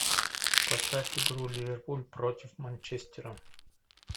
поставь игру ливерпуль против манчестера